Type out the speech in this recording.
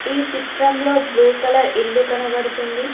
ఈ చిత్రంలో blue colour ఇల్లు కనబడుతుంది.